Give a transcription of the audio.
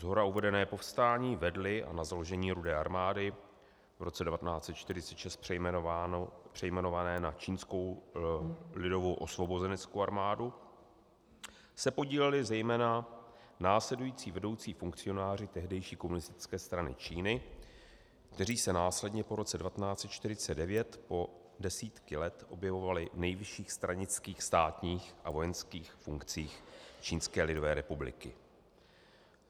Shora uvedené povstání vedli a na založení Rudé armády, v roce 1946 přejmenované na Čínskou lidovou osvobozeneckou armádu, se podíleli zejména následující vedoucí funkcionáři tehdejší Komunistické strany Číny, kteří se následně po roce 1949 po desítky let objevovali v nejvyšších stranických, státních a vojenských funkcích Čínské lidové republiky.